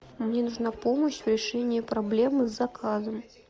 мне нужна помощь в решении проблемы с заказом